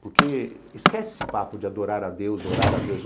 Porque esquece esse papo de adorar a Deus, orar a Deus.